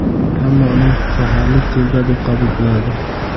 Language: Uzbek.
Hamma uni shaharlik telba deb qabul qiladi.